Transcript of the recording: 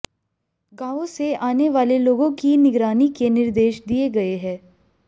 गांवों से आने वाले लोगों की निगरानी के निर्देश दिए गए हैं